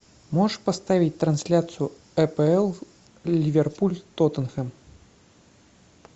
можешь поставить трансляцию апл ливерпуль тоттенхэм